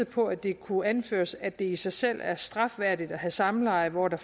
på at det kunne anføres at det i sig selv er strafværdigt at have samleje hvor der